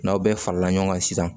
N'aw bɛɛ farala ɲɔgɔn kan sisan